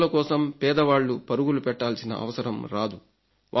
సిఫార్సుల కోసం పేదవాళ్ళు పరుగులు పెట్టాల్సిన అవసరం రాదు